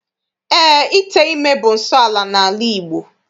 Eé, ite ime bụ nsọala n'ala Igbo.